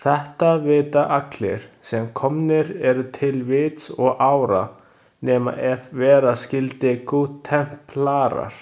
Þetta vita allir, sem komnir eru til vits og ára, nema ef vera skyldi goodtemplarar.